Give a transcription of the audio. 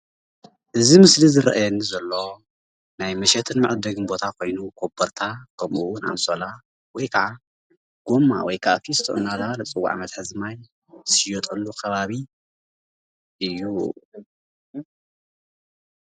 እዚ ምስሊ ዝረአየኒ ዘሎ ናይ መሸጥን መዐደግን ቦታ ኮይኑ ኮቦርታ ከምኡውን ኣንሶላ ወይከዓ ጎማ ወይከዓ ፊስቶ እናተባህለ ዝፅዋዕ መትሐዚ ማይ ዝሽየጠሉ ከባቢ እዩ፡፡